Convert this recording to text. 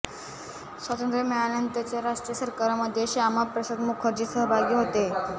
स्वातंत्र मिळाल्यानंतरच्या राष्ट्रीय सरकारमध्ये श्यामा प्रसाद मुखर्जी सहभागी होते